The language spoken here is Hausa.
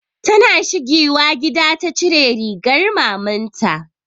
Ta na shigiwa gida ta cire rigar maman ta